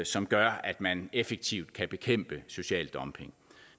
som gør at man effektivt kan bekæmpe social dumping